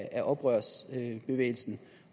af oprørsbevægelsen